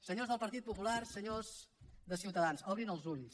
senyors del partit popular senyors de ciutadans obrin els ulls